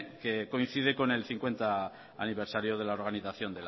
que coincide con el cincuenta aniversario de la organización